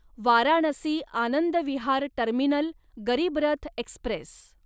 Varanasi Anand Vihar terminal Garib Rath Express